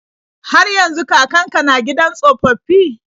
Har yanzu kakan ka na gidan tsofaffi?